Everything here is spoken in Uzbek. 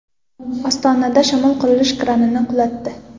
Ostonada shamol qurilish kranini qulatdi .